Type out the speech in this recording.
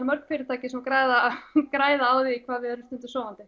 mörg fyrirtæki sem græða græða á því hvað við erum stundum sofandi